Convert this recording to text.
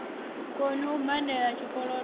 koni u badela zwikolodo hu